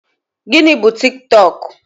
Gịnị bu Tiktọk?